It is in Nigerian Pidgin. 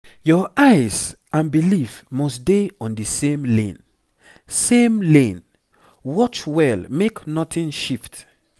your eyes and belief must dey on the same lane same lane watch well make nothing shift